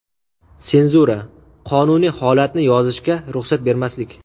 Senzura - qonuniy holatni yozishga ruxsat bermaslik.